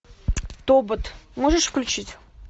тобот можешь включить